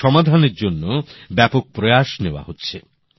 এর সমাধানের জন্য ব্যাপক প্রয়াস নেওয়া হচ্ছে